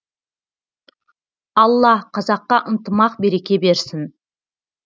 алла қазаққа ынтымақ береке берсін